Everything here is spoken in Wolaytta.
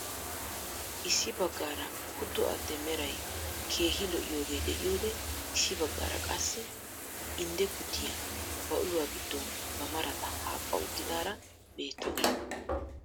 Issi baggaara kutto addee meray keehi lo'iyooge de'iyoode issi baggaara qassi indde kuttiyaa ba uluwaa giddon ba marata haphpha uttidaara beettawus.